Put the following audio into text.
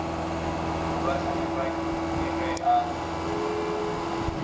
morwa hlabirwa ke ge a